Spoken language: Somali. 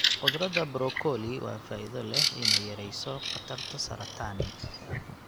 Khudradda brokoli waa faa'iido leh inay yareyso khatarta saratani.